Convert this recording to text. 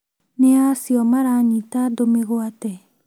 Nĩa acio maranyita andũ mĩgwate?